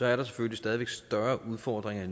er der selvfølgelig stadig væk større udfordringer